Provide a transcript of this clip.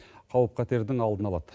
қауіп қатердің алдын алады